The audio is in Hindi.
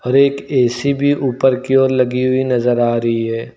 और एक ए_सी भी ऊपर की ओर लगी हुई नजर आ रही है।